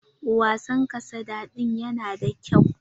Wasan kasada din yana da kyau.